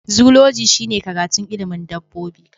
Zoology shine karatun ilimin dabbobi